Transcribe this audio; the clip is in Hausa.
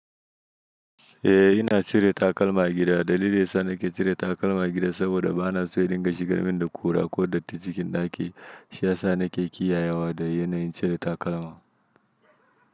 Eh ina cire takalma a gida. Dalilin da yasa nake cire takalma a gida saboda bana so ya dinga shigar min da kura ko datti cikin ɗaki. Shiyasa nake kiyayewa da yanayin cire takalma.